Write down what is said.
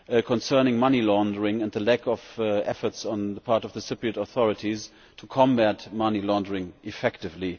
concerning money laundering and the lack of effort on the part of the Cypriot authorities to combat money laundering effectively?